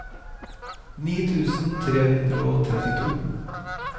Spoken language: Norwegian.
ni tusen tre hundre og trettito